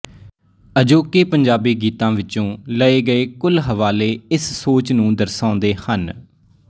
ਅਜੋਕੇ ਪੰਜਾਬੀ ਗੀਤਾਂ ਵਿੱਚੋਂ ਲਏ ਗਏ ਕੁਲ ਹਵਾਲੇ ਇਸ ਸੋਚ ਨੂੰ ਦਰਸਾਉਂਦੇ ਹਨ